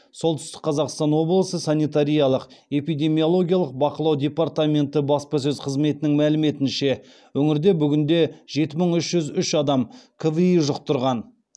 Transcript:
солтүстік қазақстан облысы санитариялық эпидемиологиялық бақылау департаменті баспасөз қызметінің мәліметінше өңірде бүгінде жеті мың үш жүз үш адам кви жұқтырған